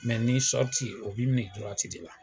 Mɛ ni ye o b'i minɛ de la